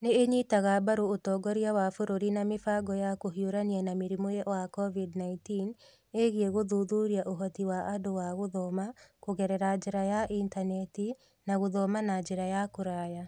Nĩ ĩnyitaga mbaru ũtongoria wa bũrũri na mĩbango ya kũhiũrania na mũrimũ wa COVID-19 ĩgiĩ gũthuthuria ũhoti wa andũ wa gũthoma kũgerera njĩra ya intaneti nagũthoma na njĩra ya kũraya.